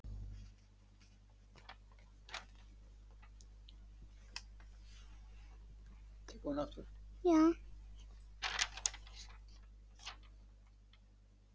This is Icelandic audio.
Við seljum bílinn hennar þá.